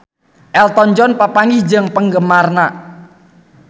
Elton John papanggih jeung penggemarna